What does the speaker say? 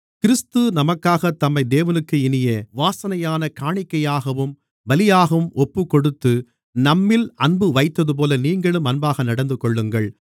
கிறிஸ்து நமக்காகத் தம்மை தேவனுக்கு இனிய வாசனையான காணிக்கையாகவும் பலியாகவும் ஒப்புக்கொடுத்து நம்மில் அன்புவைத்ததுபோல நீங்களும் அன்பாக நடந்துகொள்ளுங்கள்